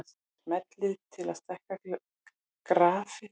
Smellið til að stækka grafið.